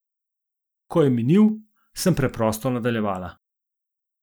Ko je minil, sem preprosto nadaljevala.